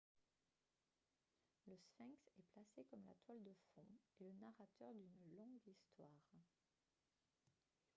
le sphinx est placé comme la toile de fond et le narrateur d'une longue histoire